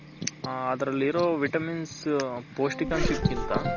ಅದರಲ್ಲಿರೋ Vitamins ಪೌಷ್ಟಿಕಂಶ ಕಿಂತ t